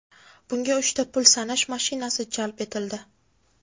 Bunga uchta pul sanash mashinasi jalb etildi.